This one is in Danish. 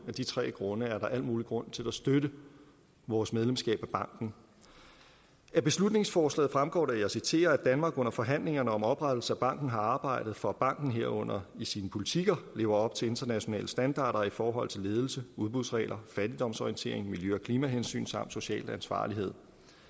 de tre grunde er der al mulig grund til at støtte vores medlemskab af banken af beslutningsforslaget fremgår det og jeg citerer at danmark under forhandlingerne om oprettelse af banken har arbejdet for at banken herunder i sine politikker lever op til internationale standarder i forhold til ledelse udbudsregler fattigdomsorientering miljø og klimahensyn samt social ansvarlighed